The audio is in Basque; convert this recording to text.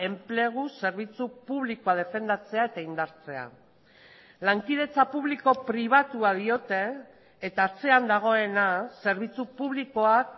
enplegu zerbitzu publikoa defendatzea eta indartzea lankidetza publiko pribatua diote eta atzean dagoena zerbitzu publikoak